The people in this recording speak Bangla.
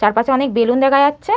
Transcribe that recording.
চার পাশে অনেক বেলুন দেখা যাচ্ছে।